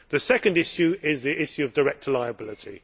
The second issue is the issue of director liability.